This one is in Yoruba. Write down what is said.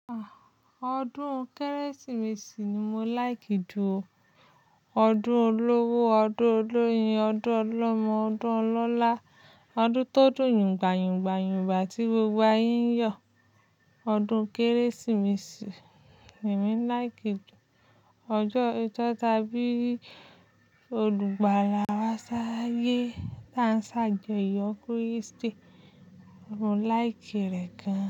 Ah! Ọdún Kérésìmesì ni mo láìkì jù o. Ọdún olówó, ọdún olóyin, ọdún ọlọ́mọ, ọdún ọlọ́lá, ọdún tó dùn yùngbayùngba, tí gbogbo ayé ń yọ̀. Ọdún Kérésìmesì lemii láìkì jù. Ọjọ́ ijo ta bí i olùgbàlà wá sáyé, ta n se ajọyọ́, kristi mo like rẹ̀ gan.